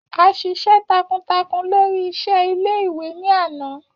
A ṣiṣẹ takuntakun lori iṣẹ ile-iwe ni ana.